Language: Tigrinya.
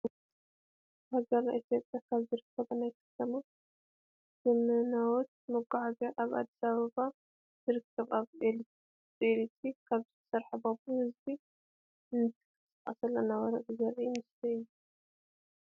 ኣብ ሃገርና ኢትዮጵያ ካብ ዝርከባ ናይ ከተማ ዘመነዎት መጓዓዝያታት ኣብ ኣዲስ ኣበባ ካብ ዝርከባ ብ ኣኤለክትሪክ ካብዝሰርሓ ባቡር ህዝቢ እናተሰቀልን እናወርደ ዘር ኢ ምስሊ እዩ::